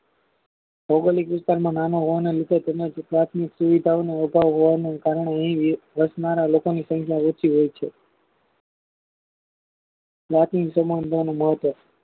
ભૌગોલિક વિસ્તારમા નાના હોવાના તેને પ્રાથમિક સુવિધાઓનો અભાવ હોવાને કારણે વસનારા લોકોની સંખ્યા ઓછી હોય છે પ્રાથમિક સમાનતા નું મહત્વ